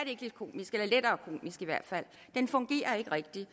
ikke lidt komisk eller lettere komisk i hvert fald den fungerer ikke rigtigt